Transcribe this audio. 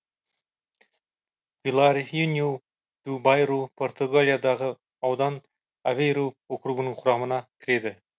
виларинью ду байру португалиядағы аудан авейру округінің құрамына кіреді